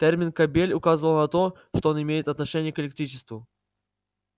термин кабель указывал на то что он имеет отношение к электричеству